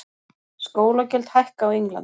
Skólagjöld hækka á Englandi